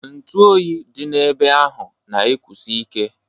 Ntụ oyi dị ebe ahụ na ekusi ike.